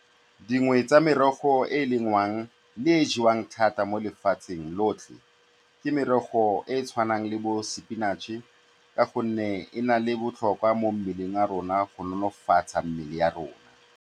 Dingwe tsa merogo e e lengwang le e e jewang thata mo lefatsheng lotlhe ke merogo e e tshwanang le bo-spinach-e ka gonne e na le botlhokwa mo mmeleng wa rona go nonofatsa mmele wa rona.